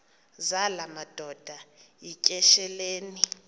zala madoda yityesheleni